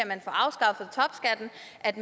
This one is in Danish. at